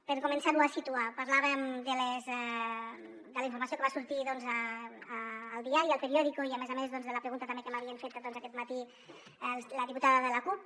per començar ho a situar parlàvem de la informació que va sortir doncs al diari el periódico i a més a més de la pregunta també que m’havia fet aquest matí la diputada de la cup